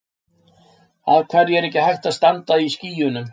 af hverju er ekki hægt að standa á skýjunum